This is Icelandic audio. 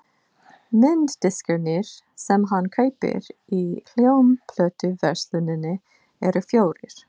Mynddiskarnir sem hann kaupir í hljómplötuversluninni eru fjórir.